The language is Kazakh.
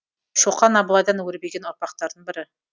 шоқан абылайдан өрбіген ұрпақтардың бірі